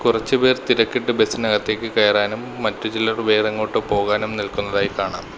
കുറച്ചുപേർ തിരക്കിട്ട് ബസ്സിനകത്തേക്ക് കയറാനും മറ്റു ചിലർ വേറെങ്ങോട്ടോ പോവാനും നിൽക്കുന്നതായി കാണാം.